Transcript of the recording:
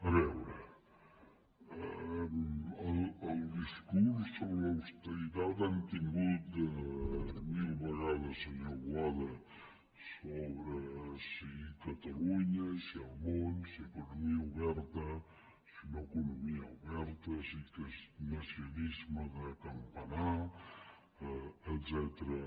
a veure el discurs sobre l’austeritat l’hem tingut mil vegades senyor boada sobre si catalunya si el món si economia oberta si no economia oberta si keynesianisme de campanar etcètera